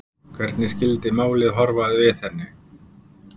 Hvernig skyldið málið horfa við henni?